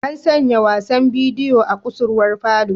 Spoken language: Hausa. An sanya wasan bidiyo a kusurwar falo.